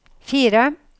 fire